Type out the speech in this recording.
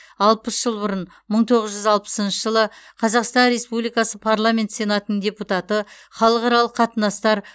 алпыс жыл бұрын мың тоғыз жүз алпысыншы жылы қазақстан республикасы парламент сенатының депутаты халықаралық қатынастар